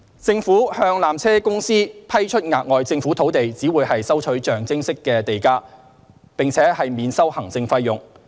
政府向纜車公司批出額外政府土地只會收取象徵式地價，並免收行政費用。